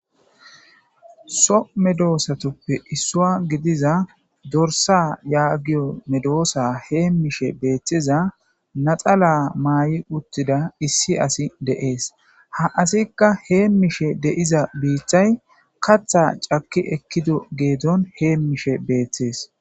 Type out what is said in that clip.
So medoosatoppe issua gidiza dorsa yaagiyo medoosa hee mishe beeththiza naxala maay'i uttida issi asi deees ha asikka hee mishe de'iza biiththay katha cakki ekkido geedon hee mishe beeththees.